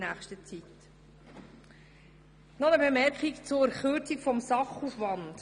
Noch eine Bemerkung zur Kürzung des Sachaufwands: